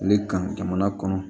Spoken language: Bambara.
Ale kan jamana kɔnɔ